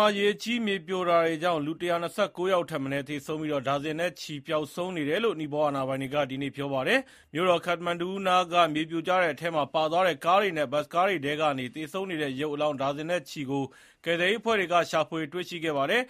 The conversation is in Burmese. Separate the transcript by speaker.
Speaker 1: ှာ ရေကြီးမြေပြိုတာတွေကြောင့် လူ ၁၂၉ ယောက်ထက်မနည်း သေဆုံးပြီး ဒါဇင်နဲ့ချီ ပျောက်ဆုံးနေတယ်လို့ နီပေါအာဏာပိုင်တွေက ဒီနေ့ ပြောပါတယ်။ မြို့တော် ခတ္တမန္ဒူနားက မြေပြိုကျတဲ့အထဲမှာ ပါသွားတဲ့ ကားတွေနဲ့ ဘတ်စ်ကားတွေထဲကနေ သေဆုံးနေတဲ့ ရုပ်အလောင်း ဒါဇင်နဲ့ချီကို ကယ်ဆယ်ရေးအဖွဲ့တွေက ရှ
Speaker 2: ာဖွေတွေ့ရှိခဲ့ပါတယ်